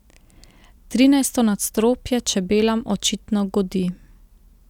Trinajsto nadstropje čebelam očitno godi.